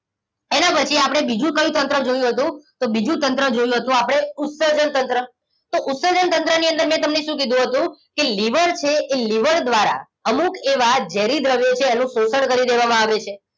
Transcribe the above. એના પછી આપણે બીજું કહ્યું તંત્ર જોયું હતું તો બીજું તંત્ર જોયું હતું આપણે ઉત્સર્જન તંત્ર તો ઉત્સર્જન તંત્ર ની અંદર મેં તમને શું કીધું હતું કે લીવર છે એ લીવર દ્વારા અમુક એવા ઝેરી દ્રવ્યો છે એનું શોષણ કરી દેવામાં આવે છે